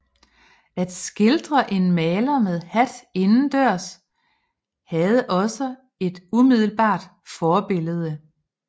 At skildre en maler med hat indendørs havde også et umiddelbart forbillede